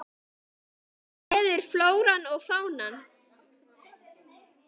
Mig gleður flóran og fánan.